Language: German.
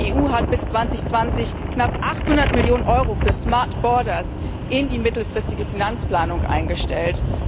Die EU hat bis 2020 knapp 800 Millionen Euro für smart borders in die mittelfristige Finanzplanung eingestellt.